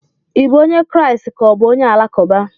Ị bụ onye Kraịst ka ọ bụ onye Alakụba?